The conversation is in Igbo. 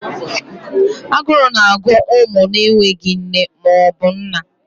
Aguru na agụ umu na enweghị nne maọbu nna.